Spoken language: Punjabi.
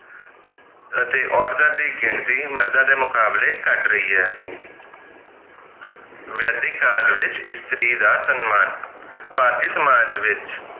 ਅਤੇ ਔਰਤਾਂ ਦੀ ਗਿਣਤੀ ਮਰਦਾਂ ਦੇ ਮੁਕਾਬਲੇ ਘੱਟ ਰਹੀ ਹੈ ਵੈਦਿਕ ਕਾਲ ਵਿਚ ਇਸਤਰੀ ਦਾ ਸੰਮਾਨ ਭਾਰਤੀ ਸਮਾਜ ਵਿਚ